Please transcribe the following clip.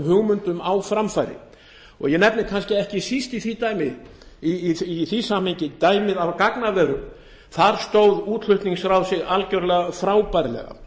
hugmyndum á framfæri ég nefni kannski ekki síst í því samhengi dæmið af gagnaverum þar stóð útflutningsráð sig algjörlega frábærlega